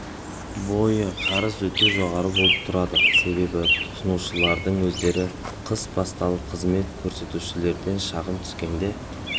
бойы қарыз өте жоғары болып тұрады себебі тұтынушылардың өздері қыс басталып қызмет көрсетушілерден шағым түскенде